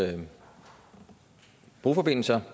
broforbindelser